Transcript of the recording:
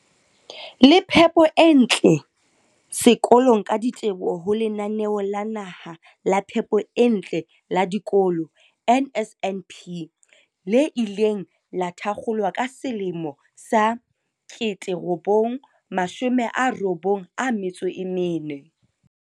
le phepo e ntle sekolong ka diteboho ho Lenaneo la Naha la Phepo e Ntle la Dikolo NSNP, le ileng la thakgolwa ka 1994.